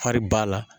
Hali ba la